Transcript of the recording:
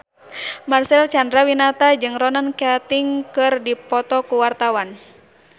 Marcel Chandrawinata jeung Ronan Keating keur dipoto ku wartawan